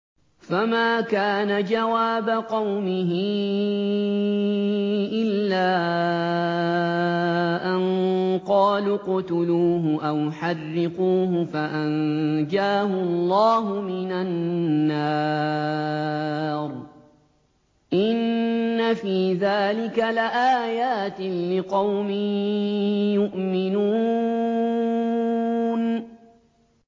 فَمَا كَانَ جَوَابَ قَوْمِهِ إِلَّا أَن قَالُوا اقْتُلُوهُ أَوْ حَرِّقُوهُ فَأَنجَاهُ اللَّهُ مِنَ النَّارِ ۚ إِنَّ فِي ذَٰلِكَ لَآيَاتٍ لِّقَوْمٍ يُؤْمِنُونَ